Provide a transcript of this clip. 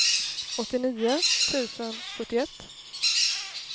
åttionio tusen sjuttioett